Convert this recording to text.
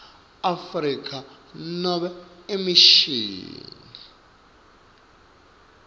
afrika nobe emishini